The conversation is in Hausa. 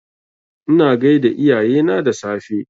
Ina gaida iyayena da safe